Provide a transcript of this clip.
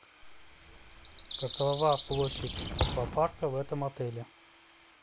какова площадь аквапарка в этом отеле